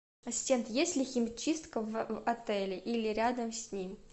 ассистент есть ли химчистка в отеле или рядом с ним